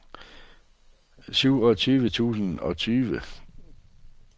syvogtyve tusind og tyve